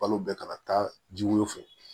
Balo bɛɛ kana taa jiw fɛ